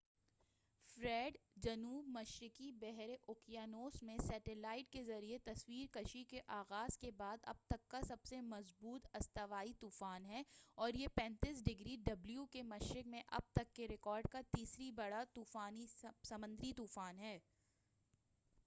Fred, جنوب مشرقی بحر اوقیانوس میں سیٹلائٹ کے ذریعہ تصویر کشی کے آغاز کے بعد اب تک کا سب سے مضبوط استوائی طوفان ہے، اور یہ 35 ° ڈبلیو کے مشرق میں اب تک کے ریکارڈ کا تیسرا بڑا سمندری طوفان ہے۔